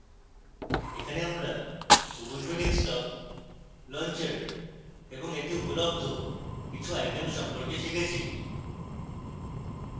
এখানে আমরা ubuntu desktop launcher এবং এতে উপলন্ধ কিছু icons সম্পর্কে শিখেছি